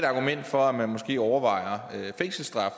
argument for at man måske skal overveje fængselsstraf